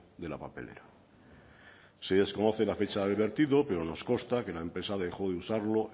de la papelera se desconoce la fecha del vertido pero nos consta que la empresa dejó de usarlo